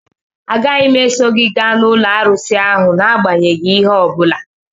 Agaghị m eso gị gaa n'ụlọ arụsị ahụ n'agbanyeghị ihe ọ bụla